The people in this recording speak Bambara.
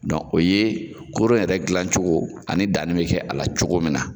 Dɔn o ye koro yɛrɛ gilan cogo ani danni be kɛ a la cogo min na